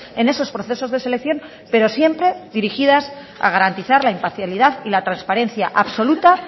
en esos procesos de selección pero siempre dirigidas a garantizar la imparcialidad y la transparencia absoluta